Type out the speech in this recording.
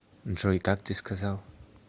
джой как ты сказал